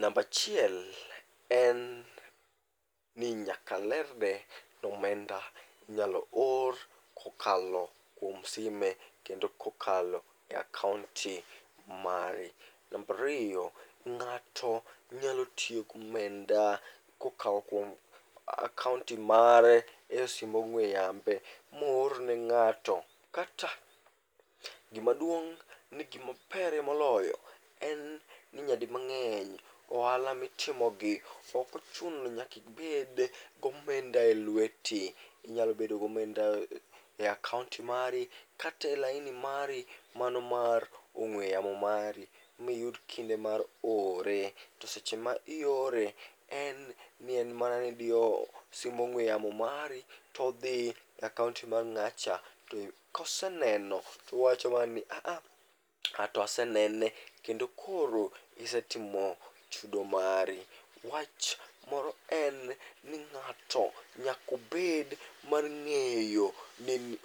Nambachiel en ni nyakalerne nomenda inyalo or kokalo kuom sime kendo kokalo e akaonti mari. Nambariyo, ng'ato nyalo tiyo gomenda kokao kuom akaonti mare e simb ong'we yambe moorne ng'ato. Kata gimaduong' ni gimabere moloyo en ni nyadi mang'eny ohala mitimogi okochuno ni nyakibed gomenda e lweti. Inyalo bedo gomenda e akaonti mari katelaini mari mano mar ong'we yamo mari miyud kinde mar ore. To seche ma iore en nien mana nidiyo simb ong'we yamo mari to dhi e akaonti mar ng'acha. To koseneno towacho mana ni "aaha, anto asenene", kendo koro isetimo chudo mari. Wach moro en ni ng'ato nyakobed mar ng'eyo ni